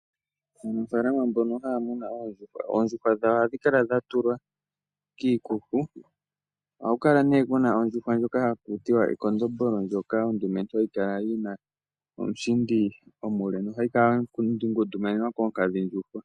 Aanafaalama mbono haya munu oondjuhwa, oondjuhwa dhawo ohadhi kala dha tulwa kiikuku. Ohaku kala nee ku na ondjuhwa ndjoka haku tiwa ekondombolo ndyoka endumentu yi na omushindi omule nohayi kala ya ngundumanenwa koonkadhindjuhwa.